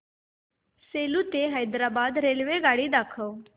सेलू ते हैदराबाद रेल्वेगाडी दाखवा